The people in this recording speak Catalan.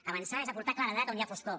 avançar és aportar claredat on hi ha foscor